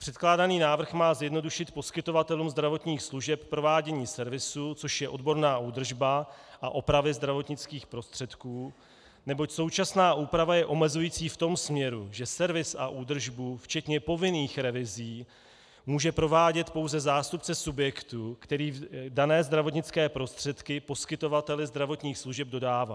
Předkládaný návrh má zjednodušit poskytovatelům zdravotních služeb provádění servisu, což je odborná údržba a opravy zdravotnických prostředků, neboť současná úprava je omezující v tom směru, že servis a údržbu včetně povinných revizí může provádět pouze zástupce subjektu, který dané zdravotnické prostředky poskytovateli zdravotních služeb dodává.